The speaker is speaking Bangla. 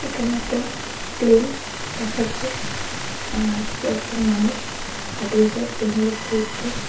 এখানে একটা প্লেন দেখা যার আর কয়েকজন মানুষ হাঁটিয়ে যারা প্লেনের উপরে উঠতো।